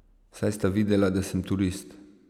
Saj sta videla, da sem turist.